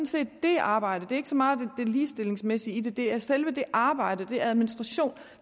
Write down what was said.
set det arbejde det er ikke så meget det ligestillingsmæssige i det det er selve det arbejde den administration